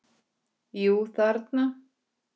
Kremur fingur mína.